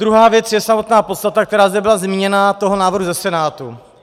Druhá věc je samotná podstata, která zde byla zmíněna, toho návrhu ze Senátu.